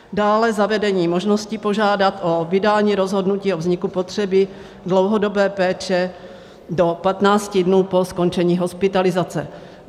Dále zavedení možnosti požádat o vydání rozhodnutí o vzniku potřeby dlouhodobé péče do 15 dnů po skončení hospitalizace.